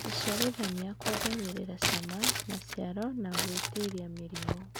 Gũciarithania kũongagĩrĩra cama, maciaro na gwĩtiria mĩrimũ.